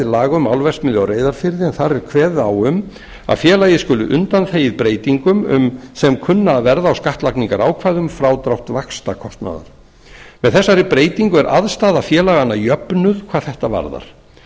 laga um álverksmiðju í reyðarfirði en þar er kveðið á um að félagið skuli undanþegið breytingum sem kunna að verða á skattlagningarákvæði um frádrátt vaxtakostnaðar með þessari breytingu er aðstaða félaganna jöfnuð hvað þetta varðar